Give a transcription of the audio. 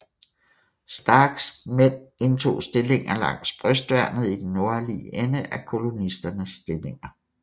Starks mænd indtog stillinger langs brystværnet i den nordlige ende af kolonisternes stillinger